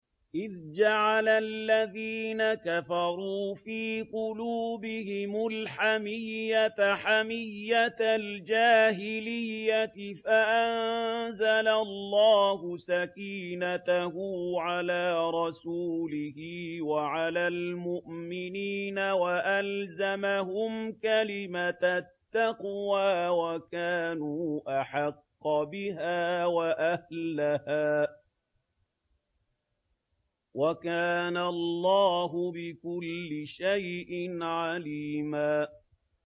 إِذْ جَعَلَ الَّذِينَ كَفَرُوا فِي قُلُوبِهِمُ الْحَمِيَّةَ حَمِيَّةَ الْجَاهِلِيَّةِ فَأَنزَلَ اللَّهُ سَكِينَتَهُ عَلَىٰ رَسُولِهِ وَعَلَى الْمُؤْمِنِينَ وَأَلْزَمَهُمْ كَلِمَةَ التَّقْوَىٰ وَكَانُوا أَحَقَّ بِهَا وَأَهْلَهَا ۚ وَكَانَ اللَّهُ بِكُلِّ شَيْءٍ عَلِيمًا